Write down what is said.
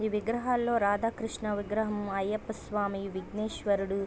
ఈ విగ్రహాలలో రాధాకృష్ణ విగ్రహం అయ్యప్ప స్వామి విగ్రహం విగ్నాశ్వరుడు.